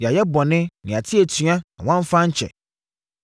“Yɛayɛ bɔne, na yɛate atua na woamfa ankyɛ.